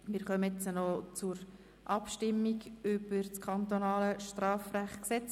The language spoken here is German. Wir stimmen nun über die Vorlage ab.